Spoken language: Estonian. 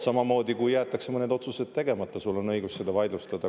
Samamoodi, kui jäetakse mõned otsused tegemata, siis sul on õigus seda vaidlustada.